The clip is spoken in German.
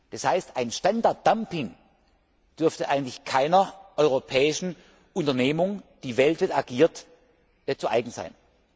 Das heißt, ein Standarddumping dürfte eigentlich keiner europäischen Unternehmung, die weltweit agiert, zu eigen sein.